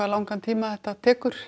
langan tíma það tekur